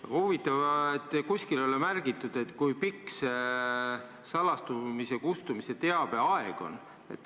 Aga huvitav, et kuskil ei ole märgitud, kui pikk see teabe salastatuse kustumise aeg on.